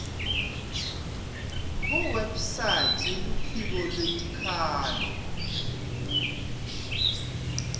kuwebsite yeluphiko lwetikhalo